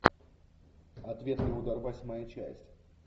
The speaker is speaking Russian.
ответный удар восьмая часть